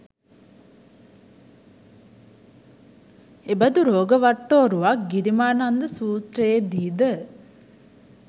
එබඳු රෝග වට්ටෝරුවක් ගිරිමානන්ද සූත්‍රයේ දී ද